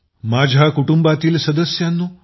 माझ्या कुटुंबातील सदस्यांनो